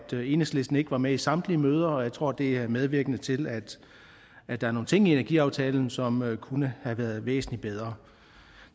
enhedslisten ikke var med i samtlige møder og jeg tror det er medvirkende til at der er nogle ting i energiaftalen som kunne have været væsentlig bedre